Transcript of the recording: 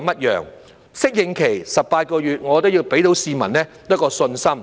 在適應期的18個月，我認為要能給市民一個信心。